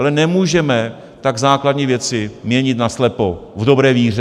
Ale nemůžeme tak základní věci měnit naslepo v dobré víře.